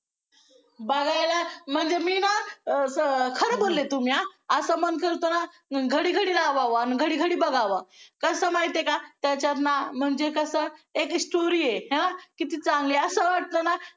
बघायला म्हणजे मी ना अं खरं बोलले तुम्ही आ असं म्हणशील तर आ घडी घडी राहावं आणि घडी घडी बघावं कसं माहिती आहे का त्याच्यातनं म्हणजे कसं एक story आहे आहे ना किती चांगली असं वाटतं ना